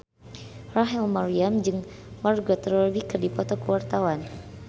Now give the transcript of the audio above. Rachel Maryam jeung Margot Robbie keur dipoto ku wartawan